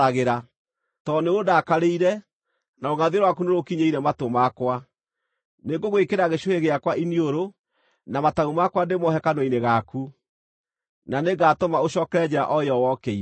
Tondũ nĩũndakarĩire, na rũngʼathio rwaku nĩrũkinyĩire matũ makwa, nĩngũgwĩkĩra gĩcũhĩ gĩakwa iniũrũ, na matamu makwa ndĩmohe kanua-inĩ gaku, na nĩngatũma ũcookere njĩra o ĩyo wokĩire.’